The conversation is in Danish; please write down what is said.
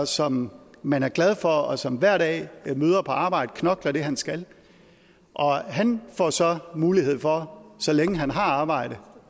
som man er glad for og som hver dag møder på arbejder knokler det han skal og han får så mulighed for så længe han har arbejde